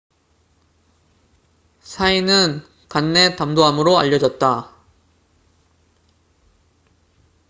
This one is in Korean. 사인死因은 간내 담도암으로 알려졌다